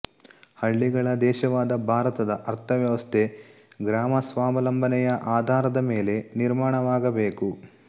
ಹಳ್ಳಿಗಳ ದೇಶವಾದ ಭಾರತದ ಅರ್ಥವ್ಯವಸ್ಥೆ ಗ್ರಾಮಸ್ವಾವಲಂಬನೆಯ ಆಧಾರದ ಮೇಲೆ ನಿರ್ಮಾಣವಾಗಬೇಕು